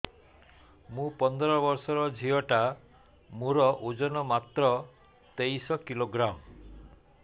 ମୁ ପନ୍ଦର ବର୍ଷ ର ଝିଅ ଟା ମୋର ଓଜନ ମାତ୍ର ତେତିଶ କିଲୋଗ୍ରାମ